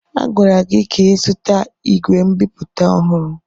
A gwara gị ka ịzụta ìgwè nbipute ọhụrụ!